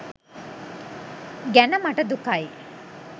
ගැන මට දුකයි.